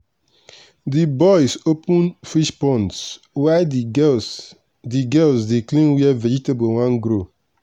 the boys open fish ponds while the girls the girls dey clean where vegetable won grow.